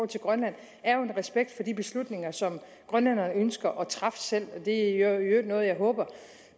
til grønland er jo en respekt for de beslutninger som grønlænderne ønsker at træffe selv det er i øvrigt noget jeg håber